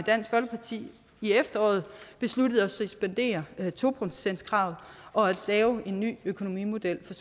dansk folkeparti i efteråret besluttede at suspendere to procentskravet og lave en ny økonomimodel for